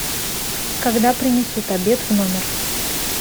когда принесут обед в номер